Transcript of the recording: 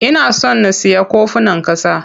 Ina son na siya kofunan ƙasa.